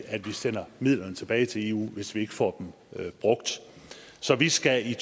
sender midlerne tilbage til eu hvis vi ikke får dem brugt så vi skal i